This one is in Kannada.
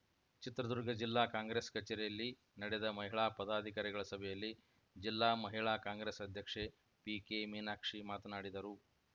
ಚಿತ್ರದುರ್ಗ ಜಿಲ್ಲಾ ಕಾಂಗ್ರೆಸ್‌ ಕಚೇರಿಯಲ್ಲಿ ನಡೆದ ಮಹಿಳಾ ಪದಾಧಿಕಾರಿಗಳ ಸಭೆಯಲ್ಲಿ ಜಿಲ್ಲಾ ಮಹಿಳಾ ಕಾಂಗ್ರೆಸ್‌ ಅಧ್ಯಕ್ಷೆ ಪಿಕೆ ಮೀನಾಕ್ಷಿ ಮಾತನಾಡಿದರು